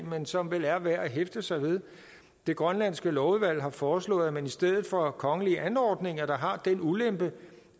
men som vel er værd at hæfte sig ved det grønlandske lovudvalg har foreslået at man i stedet for kongelige anordninger der har den ulempe